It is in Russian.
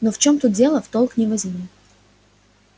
но в чем тут дело в толк не возьму